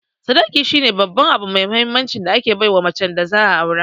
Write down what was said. Sadaki shine Babban abu mai mahinmanci da ake baiwa macen da za'a Aure.